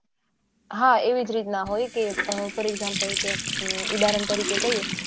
હા રીતનુજ હોય કે for example ઉદાહરણ તરીકે કહીયે